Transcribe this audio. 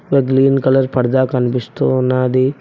ఒక green colour పరదా కనిపిస్తూ ఉన్నాది.